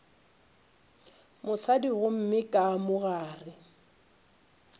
mosadi gomme ka mo gare